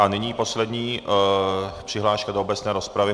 A nyní poslední přihláška do obecné rozpravy.